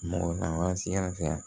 Mɔgɔ lawasi yasa